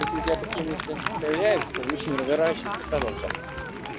если у тебя такие мысли появляются лучше не разворачивайся продолжать